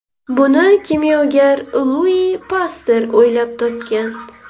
Buni kimyogar Lui Paster o‘ylab topgan.